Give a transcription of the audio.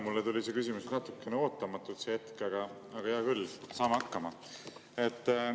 Mulle tuli see küsimus sel hetkel natukene ootamatult, aga hea küll, saame hakkama.